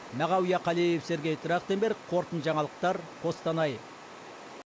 мағауия қалиев сергей трахтенберг қорытынды жаңалықтар қостанай